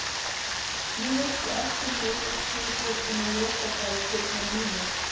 Nú veistu allt um mig úr því þú ert búin að lesa bækurnar mínar.